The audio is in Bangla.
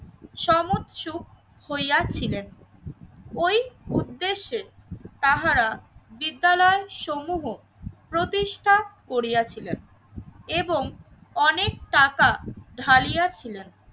সমস্ত সুখ হইয়া ছিলেন। ওই উদ্দেশ্যে তাহারা বিদ্যালয় সমূহ প্রতিষ্ঠা করিয়াছিলেন এবং অনেক টাকা ঢালিয়া ছিলেন